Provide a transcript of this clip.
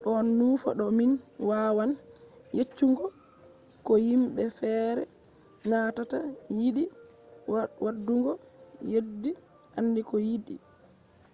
ɗon nufa do min wawan yeccugo ko yimɓe feere nanata yiɗi waɗugo yeddi aandi ko yiɗi